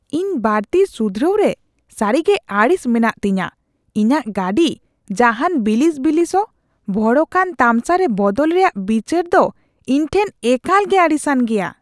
ᱤᱧ ᱵᱟᱹᱲᱛᱤ ᱥᱩᱫᱷᱨᱟᱹᱣ ᱨᱮ ᱥᱟᱹᱨᱤᱜᱮ ᱟᱹᱲᱤᱥ ᱢᱮᱱᱟᱜᱼᱟ ᱛᱤᱧᱟᱹ ᱾ ᱤᱧᱟᱹᱜ ᱜᱟᱹᱰᱤ ᱡᱟᱦᱟᱱ ᱵᱤᱞᱤᱥ ᱵᱤᱞᱤᱥᱚᱜ, ᱵᱷᱚᱲᱚᱠᱟᱱ ᱛᱟᱢᱥᱟᱨᱮ ᱵᱚᱫᱚᱞ ᱨᱮᱭᱟᱜ ᱵᱤᱪᱟᱹᱨᱫᱚ ᱤᱧ ᱴᱷᱮᱱ ᱮᱠᱟᱞ ᱜᱮ ᱟᱹᱲᱤᱥᱟᱱ ᱜᱮᱭᱟ ᱾